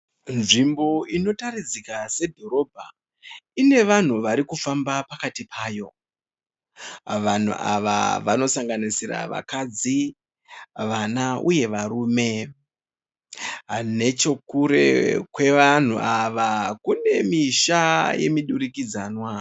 Nzvimbo inotaridzika sedhorobha. Ine vanhu vari kufamba pakati payo. Vanhu ava vanosanganisira vakadzi, vana uye varume. Nechekure kwevanhu ava kune misha yemudurikidzanwa.